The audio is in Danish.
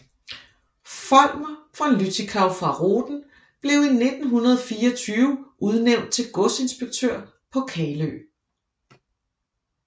Folmer von Lüttichau fra Rohden blev i 1924 udnævnt til godsinspektør på Kalø